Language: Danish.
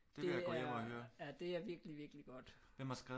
Det er ja det er virkelig virkelig godt